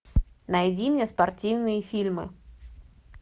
найди мне спортивные фильмы